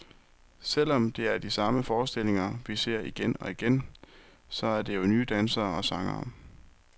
Selv om det er de samme forestillinger, vi ser igen og igen, så er det jo nye dansere og sangere.